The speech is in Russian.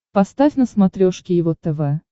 поставь на смотрешке его тв